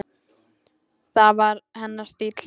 Það var hennar stíll.